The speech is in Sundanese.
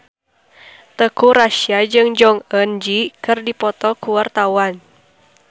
Teuku Rassya jeung Jong Eun Ji keur dipoto ku wartawan